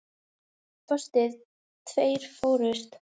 Að minnsta kosti tveir fórust.